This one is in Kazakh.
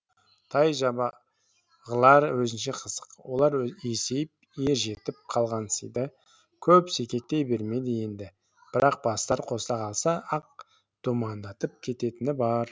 тай жабағылар өзінше қызық олар есейіп ер жетіп қалғансиды көп секектей бермейді енді бірақ бастары қосыла қалса ақ думандатып кететіні бар